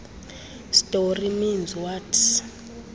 story means what